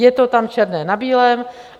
Je to tam černé na bílém.